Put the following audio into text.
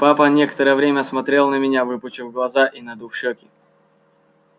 папа некоторое время смотрел на меня выпучив глаза и надув щёки